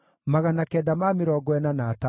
na cia Adini ciarĩ 454,